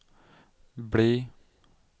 bli